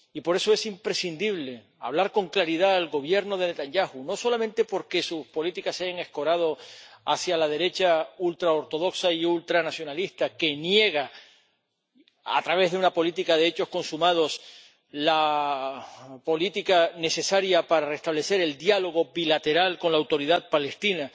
Y por eso, es imprescindible hablar con claridad al Gobierno de Netanyahu, no solamente porque sus políticas se hayan escorado hacia la derecha ultraortodoxa y ultranacionalista, que niega, a través de una política de hechos consumados, la política necesaria para restablecer el diálogo bilateral con la Autoridad Palestina